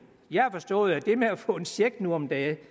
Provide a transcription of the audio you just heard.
jeg har forstået at det med at få en check nu om dage ikke